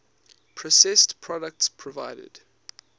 processed products provided